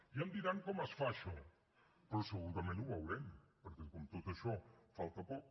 ja em diran com es fa això però segurament ho veurem perquè com que per a tot això falta poc